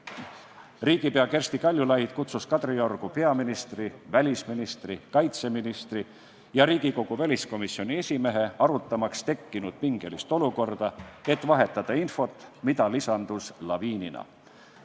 Riigipea Kersti Kaljulaid kutsus Kadriorgu peaministri, välisministri, kaitseministri ja Riigikogu väliskomisjoni esimehe, arutamaks tekkinud pingelist olukorda, et vahetada infot, mida lisandus laviinina.